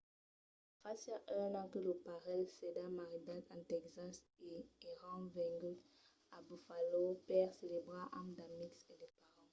fasiá un an que lo parelh s'èra maridat en tèxas e èran venguts a buffalo per celebrar amb d'amics e de parents